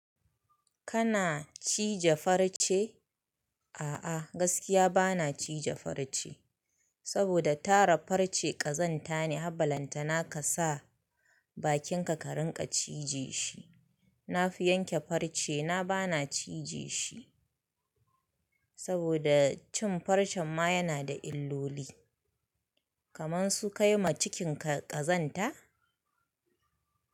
Kana cije farce? A'a gaskiya bana cije farce saboda tara farce ƙazanta ne, har balantana kasa bakinka ka rinƙa cije shi. Na fi yanke farce na bana cije shi saboda cin farcen ma yana da illoli kaman su kai ma cikinka ƙazanta?